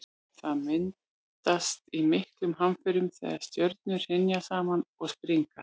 það myndast í miklum hamförum þegar stjörnur hrynja saman og springa